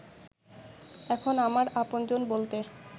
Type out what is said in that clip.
এখন আমার আপনজন বলতে